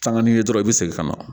Sanga ni ye dɔrɔn i bɛ segin ka na